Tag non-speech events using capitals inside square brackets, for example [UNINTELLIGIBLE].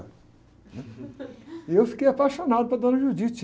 né? E eu fiquei apaixonado pela dona. [UNINTELLIGIBLE]